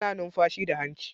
Ana numfashi da hanci